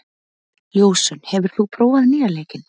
Ljósunn, hefur þú prófað nýja leikinn?